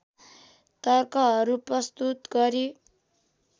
तर्कहरू प्रस्तुत गरी